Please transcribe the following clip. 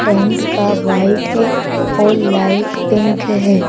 Tent का white है और लाइट पिंक है।